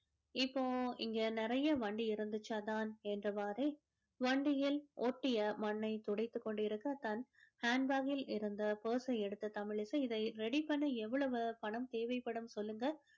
இப்போ இங்க நிறைய வண்டி இருந்துச்சு அதான் என்றவாரே வண்டியில் ஒட்டிய மண்ணை துடைத்து கொண்டிருக்க தன் hand bag கில் இருந்து purse சை எடுத்து தமிழிசை இதை ready பண்ண எவ்வளவு பணம் தேவைப்படும் சொல்லுங்க